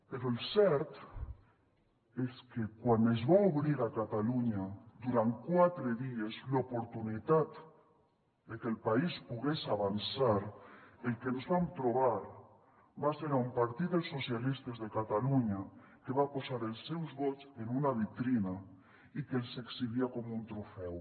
però el cert és que quan es va obrir a catalunya durant quatre dies l’oportunitat de que el país pogués avançar el que ens vam trobar va ser un partit dels socialistes de catalunya que va posar els seus vots en una vitrina i que els exhibia com un trofeu